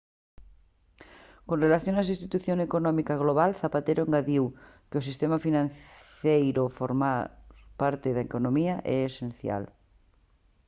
con relación á situación económica global zapatero engadiu que o sistema financeiro formar parte da economía e é esencial